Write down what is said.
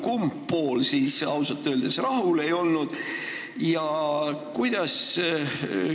Kumb pool siis ausalt öeldes rahul ei ole?